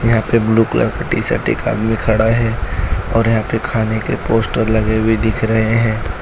यहां पे blue colour का टी-शर्ट एक आदमी खड़ा है और यहां पे खाने के पोस्टर लगे हुए दिख रहे हैं।